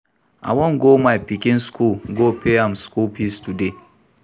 I wan go my pikin school go pay im school fees today